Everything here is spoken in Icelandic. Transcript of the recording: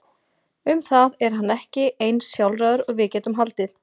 Um það er hann ekki eins sjálfráður og við gætum haldið.